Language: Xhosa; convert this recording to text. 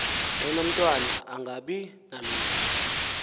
enomtwana angabi nalungelo